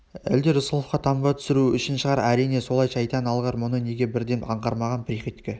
әлде рысқұловқа таңба түсіру үшін шығар әрине солай шайтан алғыр мұны неге бірден аңғармаған приходько